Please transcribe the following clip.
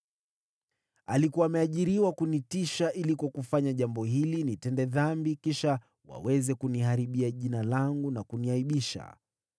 Alikuwa ameajiriwa kunitisha ili kwa kufanya jambo hili nitende dhambi, kisha waweze kuniharibia jina langu na kuniaibisha.